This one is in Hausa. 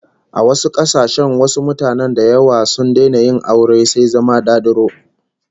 A wasu kasashen wasu mutanen da yawa sun daina yin aure sai zama dadiro